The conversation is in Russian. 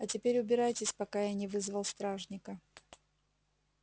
а теперь убирайтесь пока я не вызвал стражника